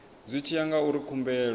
zwi tshi ya ngauri khumbelo